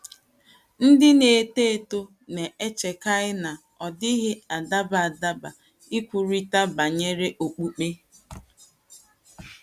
Ndị na -etò etò na - echèkaị na “ ọ dịghị adàba adàba ” ikwurịta banyere okpukpe.